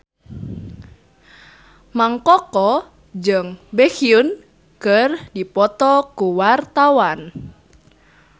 Mang Koko jeung Baekhyun keur dipoto ku wartawan